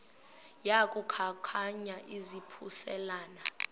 yaku khankanya izaphuselana